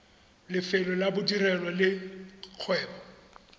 lefelo la bodirelo le kgwebo